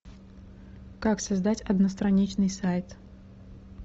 как создать одностраничный сайт